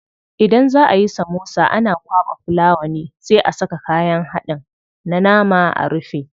Idan za ayi samosa ana kwaɓa fulawa ne sai a saka kayan haɗin na nama a rufe.